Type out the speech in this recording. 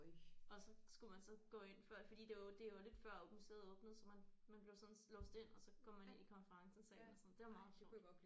Og så skulle man så gå ind før fordi det var det var lidt før museet åbnede så man man blev sådan låst ind og så går man ind i konferencesalen og sådan det var meget sjovt